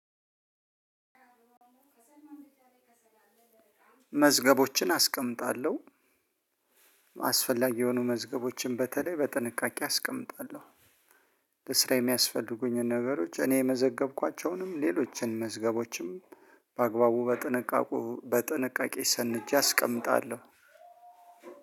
መዝገቦችን አስቀምጣለሁ አስፈላጊ የሆኑ መዝገቦችን በተለይ በጥንቃቄ አስቀምጣለሁ ለስራ የሚያስፈልጉኝን ነገሮች እኔ የመዘገብኳቸውንም ሌሎችን መዝገቦችም በአግባቡ በጥንቃቄ በጥንቃቄ ሰንጄ አስቀምጣለሁ።